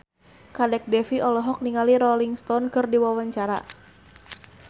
Kadek Devi olohok ningali Rolling Stone keur diwawancara